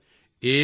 ਜੀ ਹਾਂ ਸਰ